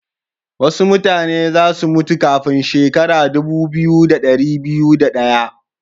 Wasu mutane za su mutu kafin shekara dubu biyu, da dari biyu da daya.